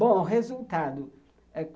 Bom, o resultado.